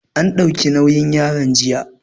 An ɗauki nauyin yaron jiya